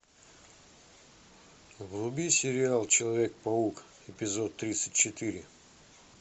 вруби сериал человек паук эпизод тридцать четыре